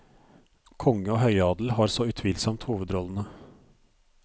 Konge og høyadel har så utvilsomt hovedrollene.